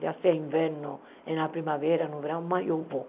Já se é inverno, na primavera, no verão, mas eu vou.